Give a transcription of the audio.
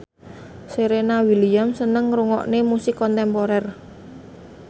Serena Williams seneng ngrungokne musik kontemporer